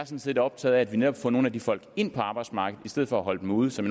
set optaget af at vi netop får nogle af de folk ind på arbejdsmarkedet i stedet for at holde dem ude som